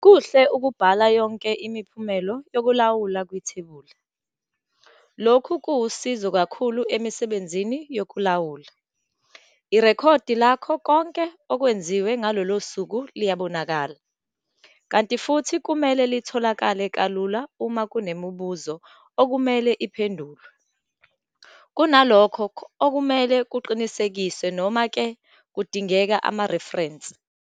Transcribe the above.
Kuhle ukubhala yonke imiphumela yokulawula kuthebula, lokho kuwusizo kakhulu emsebenzini wokulawula. Irekhodi lakho konke okwenziwe ngalolo suku liyabonakala, kanti futhi kumele litholakale kalula uma kunemibuzo okumele iphendulwe, kunalokho okumele kuqinisekiswe noma-ke kundingeka amareferensi.